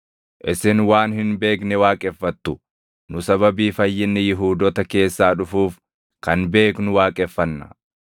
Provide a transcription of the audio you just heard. Isin waan hin beekne waaqeffattu; nu sababii fayyinni Yihuudoota keessaa dhufuuf kan beeknu waaqeffanna.